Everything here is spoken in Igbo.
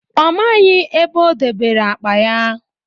Ọ maghị ebe o dobere akpa ya